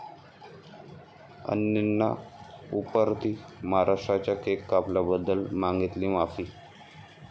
अणेंना उपरती, महाराष्ट्राचा केक कापल्याबद्दल मागितली माफी